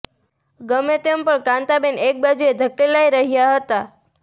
ગમે તેમ પણ કાંતાબેન એક બાજુએ ધકેલાઈ રહ્યાં હતાં